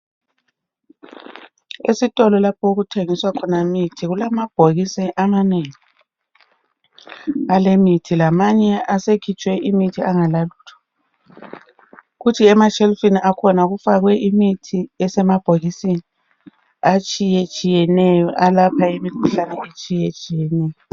Esitolo lapho okuthengiswa Khona imithi kulamabhokisi amanengi alemithi lamanye asekhitshwe imithi angalalutho. Kuthi emashelifini akhona kufakwe imithi esemabhokisini atshiyetshiyeneyo alapha imikhuhlane etshiyetshiyeneyo.